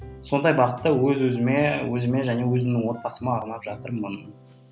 сондай бағытта өз өзіме өзіме және өзімнің отбасыма арнап жатырмын